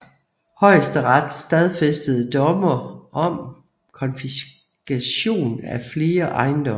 Højesteret stadfæstede domme om konfiskation af flere ejendomme